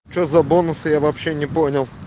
че за бонусы я вообще не понял